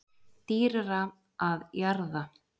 Dýrara að jarða